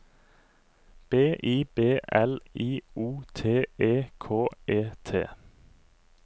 B I B L I O T E K E T